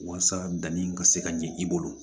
Walasa danni ka se ka ɲɛ i bolo